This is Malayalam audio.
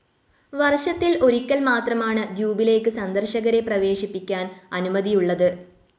വർഷത്തിൽ ഒരിക്കൽ മാത്രമാണ് ദ്വീപിലേക്ക് സന്ദർശകരെ പ്രവേശിപ്പിക്കാൻ അനുമതിയുള്ളത്.